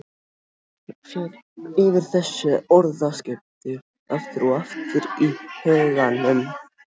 Ég fer yfir þessi orðaskipti aftur og aftur í huganum.